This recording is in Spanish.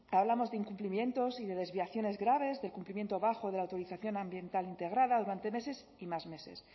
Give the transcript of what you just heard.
hablamos de incumplimientos y de desviaciones graves del cumplimiento bajo de la autorización ambiental integrada durante meses y más meses